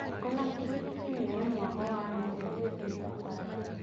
Ona kibikibi nĩ ĩrĩ mwago wayo ũgĩthiĩ thabarĩ.